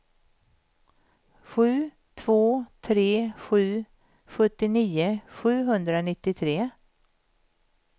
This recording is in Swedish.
sju två tre sju sjuttionio sjuhundranittiotre